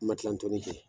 N ma kilan tɔnni kɛ